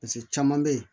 caman bɛ yen